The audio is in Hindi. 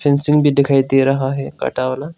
फ़िसिंग भी दिखाई दे रहा है कटा वाला--